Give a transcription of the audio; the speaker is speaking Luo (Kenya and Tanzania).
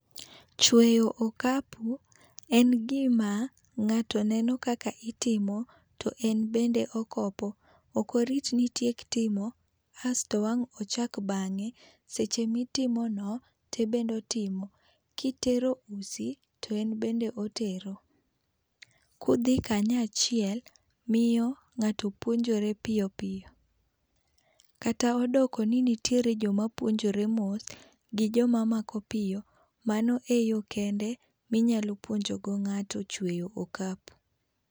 Chweyo okapu en gima nga'to neno kaka itimo to en bende okopo, okirit ni itiek timo asto wang'n ochack bange' seche mitimono to en bende otimo kitero usi to en bende otero kuthi kanyo achiel miyo nga'to puonjoro piyo piyo kata odoko ni nitire joma puonjore mos gi joma mako piyo mano e yo kende ma inyalo puonjogo ngato chueyo okapu